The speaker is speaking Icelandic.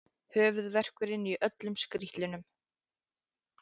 Höfuðverkurinn í öllum skrítlum.